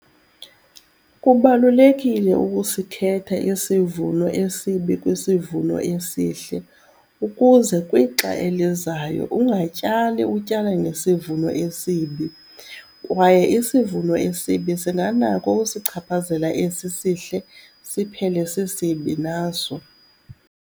Kubalulekile ukusikhetha isivuno esibi kwisivuno esihle ukuze kwixa elizayo ungatyali utyala ngesivuno esibi, kwaye isivuno esibi singanako ukusichaphazela esi sihle siphele sisibi naso.